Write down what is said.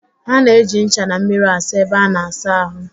A na-eji ncha na mmiri asa ebe a na-asa ahụ